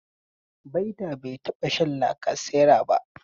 Baita bai taɓa shan lacasera ba.